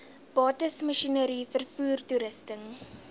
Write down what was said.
bates masjinerie vervoertoerusting